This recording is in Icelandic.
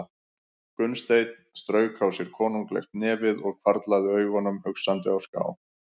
Gunnsteinn strauk á sér konunglegt nefið og hvarflaði augunum hugsandi á ská.